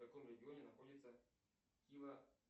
в каком регионе находится кива